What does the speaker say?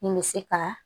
Min bɛ se ka